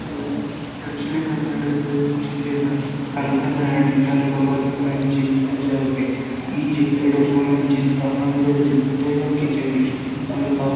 ಇಂದು ದಕ್ಷಿಣ ಕನ್ನಡ ದ್ ಜಿಲ್ಲೆದ ಕಂಕನಾಡಿದಲ್ಪ ಬರ್ಪುನಂಚಿಂತ ಜಾಗೆ ಈ ಚಿತ್ರಡ್ ಉಪ್ಪುನಂಚಿಂತ ಅಂಗಡಿ ಉದಯ ಕಿಚನೆಕ್ಟ್ಸ್ ಮುಲ್ಪ.